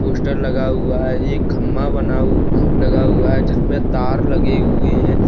Poster लगा हुआ है एक खंभा बना हुआ लगा हुआ है जिस पर तार लगे हुए हैं।